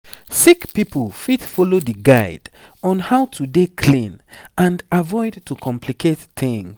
sick pipo fit follow di guide on how to dey clean and avoid to complicate tings